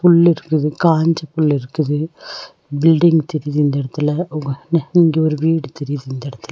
புள்ளிருக்குது காஞ்ச புள்ளிருக்குது பில்டிங் தெரியிது இந்த எடத்துல இங்க ஒரு வீடு தெரியுது இந்த எடத்துல.